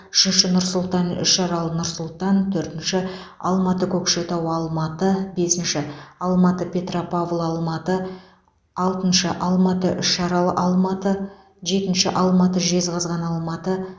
үшінші нұр сұлтан үшарал нұр сұлтан төртінші алматы көкшетау алматы бесінші алматы петропавл алматы алтыншы алматы үшарал алматы жетінші алматы жезқазған алматы